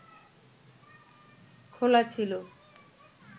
খোলা ছিল